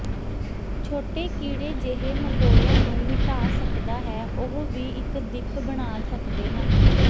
ਛੋਟੇ ਕੀੜੇ ਜਿਹੇ ਮਕੌੜਿਆਂ ਨੂੰ ਮਿਟਾ ਸਕਦਾ ਹੈ ਉਹ ਵੀ ਇੱਕ ਦਿੱਖ ਬਣਾ ਸਕਦੇ ਹਨ